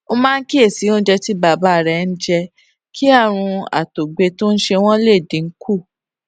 ó máa ń kíyèsí oúnjẹ tí bàbá rè ń jẹ kí àrùn àtògbẹ tó ń ṣe wọn lè dín kù